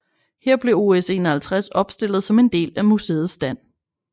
Her blev OS 51 opstillet som en del af museets stand